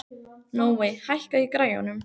Nói, hækkaðu í græjunum.